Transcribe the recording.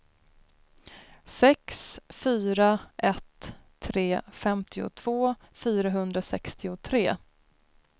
sex fyra ett tre femtiotvå fyrahundrasextiotre